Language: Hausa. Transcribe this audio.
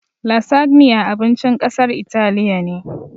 "Lasagna" abincin ƙasar italiya ne